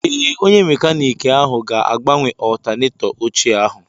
Ee, onye mekaniiki ahụ ga-agbanwe ọltanetọ ochie ahụ